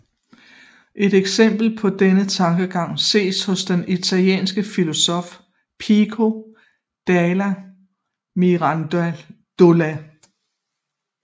Et eksempel på denne tankegang ses hos den italienske filosof Pico della Mirandola